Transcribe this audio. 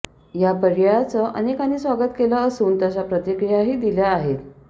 या पर्यायाचे अनेकांनी स्वागत केले असून तशा प्रतिक्रियाही दिल्या आहेत